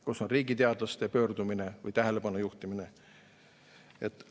Kus on riigiteadlaste pöördumine või tähelepanu juhtimine?